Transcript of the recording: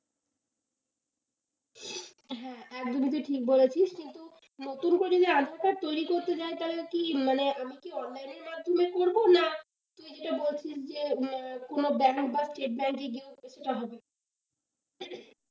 হ্যাঁ, একদমই তুই ঠিক বলেছিস কিন্তু নতুন করে যদি update টা তৈরি করতে যায় কি মানে আমি কি online এর মাধ্যমে করবো না তুই যেটা বলছিস যে কোন ব্যাংক বা স্টেট ব্যাংকে গিয়েও সেটা হবে।